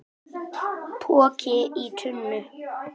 Poki í tunnu